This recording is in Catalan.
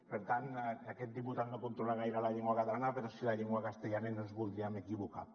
per tant aquest diputat no controla gaire la llengua catalana però sí la llengua castellana i no ens voldríem equivocar